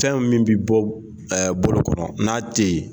Fɛn min bɛ bɔ bolokokɔrɔ n'a tɛ yen